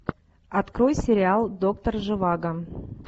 открой сериал доктор живаго